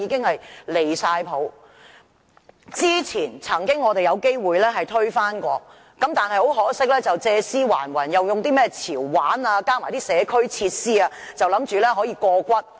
我們曾經有機會推翻有關建議，但很可惜，當局借屍還魂，用甚麼"潮玩"及社區設施的理由，以為可以過關。